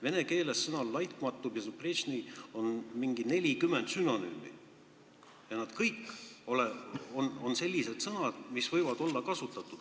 Vene keeles on sõnal bezupretšnõi umbes 40 sünonüümi ja need kõik on sellised sõnad, mida võib kasutada.